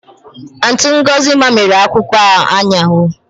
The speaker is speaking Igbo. Auntị Ngọzi mamịrị akwụkwọ ha ụnyaahụ